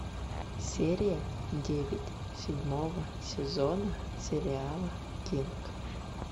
серия девять седьмого сезона сериала кинг